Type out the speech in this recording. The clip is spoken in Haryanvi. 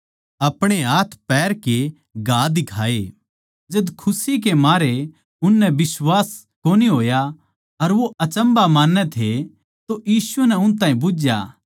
जद खुशी के मारै उननै बिश्वास कोनी होया अर वो अचम्भा मान्नै थे तो यीशु नै उन ताहीं बुझया के याड़ै थारै धोरै किमे खाण नै सै